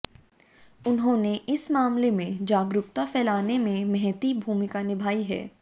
उन्होंने इस मामले में जागरूकता फैलाने में महती भूमिका निभाई है